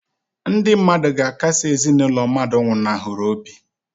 Ndị mmadụ ga-akasi ezinụlọ ndị mmadụ nwụnahụrụ obi.